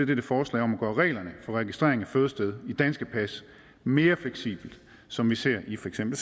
dette forslag om at gøre reglerne for registrering af fødested i danske pas mere fleksibelt som vi ser det i for eksempel